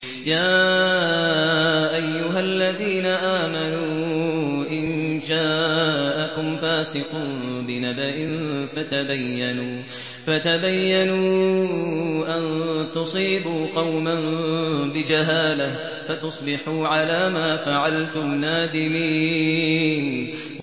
يَا أَيُّهَا الَّذِينَ آمَنُوا إِن جَاءَكُمْ فَاسِقٌ بِنَبَإٍ فَتَبَيَّنُوا أَن تُصِيبُوا قَوْمًا بِجَهَالَةٍ فَتُصْبِحُوا عَلَىٰ مَا فَعَلْتُمْ نَادِمِينَ